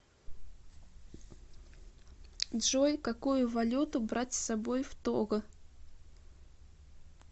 джой какую валюту брать с собой в того